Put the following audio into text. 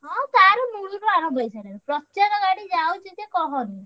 ହଁ ତାର ମୂଳରୁ ଆରମ୍ଭ ହେଇସାରିଲାଣି ପ୍ରଚାରଗାଡି ଯାଉଛି ଯେ କହନି।